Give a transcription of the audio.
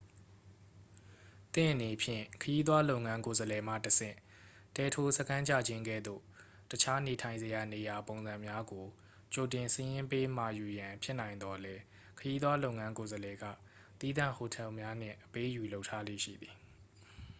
သင့်အနေဖြင့် ခရီးသွားလုပ်ငန်း ကိုယ်စားလှယ်မှတဆင့် တဲထိုးစခန်းချခြင်းကဲ့သို့ အခြားနေထိုင်စရာနေရာ ပုံစံများကို ကြိုတင်စာရင်းပေးမှာယူရန် ဖြစ်နိုင်သော်လည်း ခရီးသွားလုပ်ငန်း ကိုယ်စားလှယ်က သီးသန့်ဟိုတယ်များနှင့် အပေးအယူလုပ်ထားလေ့ရှိသည်